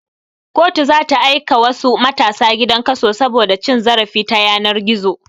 Kotu zata aika wasu matasa gidan kaso saboda cin zarafi ta yanar gizo